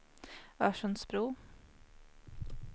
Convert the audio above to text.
Örsundsbro